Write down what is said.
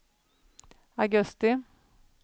augusti